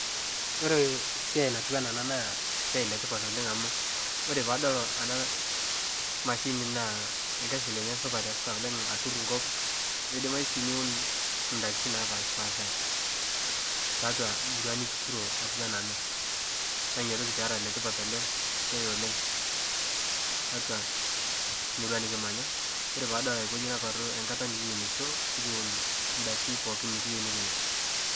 Ore siai natiu anaa ena naa esiai letipat oooleng amu ore pee adol mashini naa esiai supata eesita atur kop nidimayu si niun dakin napashipasha tiatua kurma nituturo atua nena na ina toki pera letipat ele siai oooleng tiatua murua nikitii nikimanya3. Ore pee adol naparu ekata nikiunisho nikiun daki pooki nikiiyieu nikinya.